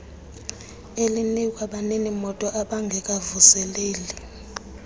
elinikwa baninimoto ababngekawavuseleli